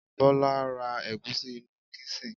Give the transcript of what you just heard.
Bola lo ra egusi inú kisin